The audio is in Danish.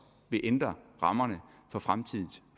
vil ændre rammerne for fremtidens